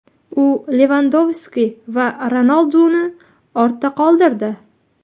U Levandovski va Ronalduni ortda qoldirdi.